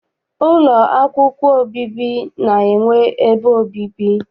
Ụlọ akwụkwọ obibi na-enwe ebe obibi.